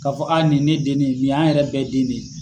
Ka fɔ nin ne den ne ye ni ye an yɛrɛ bɛɛ den ne ye.